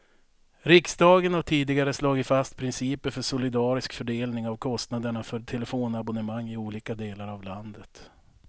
Riksdagen har tidigare slagit fast principer för solidarisk fördelning av kostnaderna för telefonabonnemang i olika delar av landet.